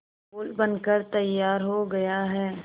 पुल बनकर तैयार हो गया है